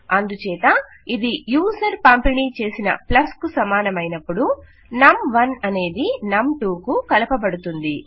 అందుచేత ఇది యూజర్ పంపిణీ చేసిన ప్లస్ కు సమానమైనపుడు నమ్ 1అనేది నమ్ 2 కు కలపబడుతుంది